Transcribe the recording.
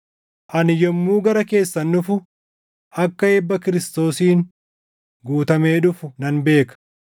Ani yommuu gara keessan dhufu akka eebba Kiristoosiin guutamee dhufu nan beeka.